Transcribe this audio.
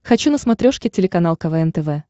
хочу на смотрешке телеканал квн тв